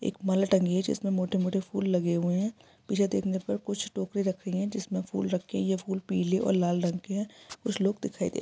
एक माला टँगी हुई है जिसमें मोटे-मोटे फूल लगे हुए हैं| पीछे देखने पर कुछ टोकरी रखी है जिसमें फूल रखे हुए हैं| ये फूल पीले और लाल रंग के हैं कुछ लोग दिखाई दे रहे हैं।